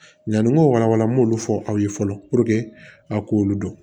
Yanni n ko walawala n b'olu fɔ aw ye fɔlɔ a k'olu dɔn